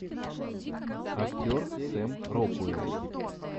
актер сэм рокуэлл